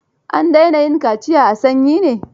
An daina yin kaciya a sanyi ne?